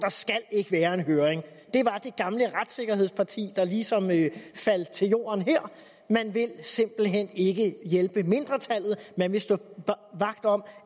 skal være en høring det var det gamle retssikkerhedspartis der ligesom faldt til jorden her man vil simpelt hen ikke hjælpe mindretallet man vil stå vagt om